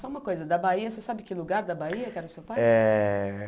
Só uma coisa, da Bahia, você sabe que lugar da Bahia que era o seu pai? Eh